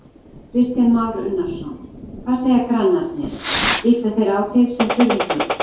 Kristján Már Unnarsson: Hvað segja grannarnir, líta þeir á þig sem furðufugl?